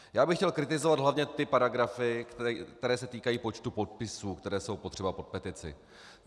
Já bych chtěl kritizovat hlavně ty paragrafy, které se týkají počtu podpisů, které jsou potřeba pod petici.